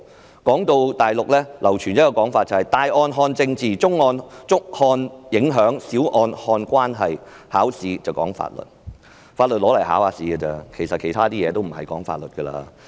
文章提到大陸流傳一種說法："大案看政治，中案看影響，小案看關係，考試講法律"，法律只在考試時才用得上，其他則與法律無關。